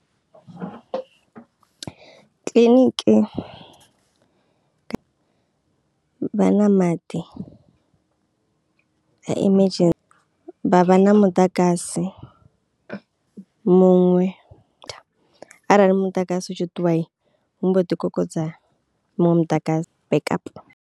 Kiḽiniki vha na maḓi ha emergency vha vha na muḓagasi muṅwe arali muḓagasi utshi ṱuwai hu mbo ḓi kokodza muṅwe muḓagasi backup.